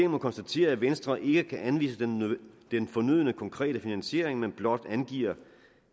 må konstatere at venstre ikke kan anvise den fornødne konkrete finansiering men blot angiver